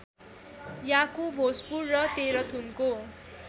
याकु भोजपुर र तेह्रथुमको